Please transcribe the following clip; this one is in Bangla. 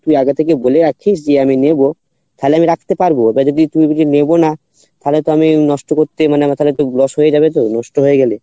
তুই আগে থেকে বলে রাখিস যে আমি নেবো তালে আমি রাখতে পারবো এবার যদি তুই যদি নেবো না তালে তো আমি নষ্ট করতে মানে তালে আমার তো loss হয়ে যাবে তো নষ্ট হয়ে গেলে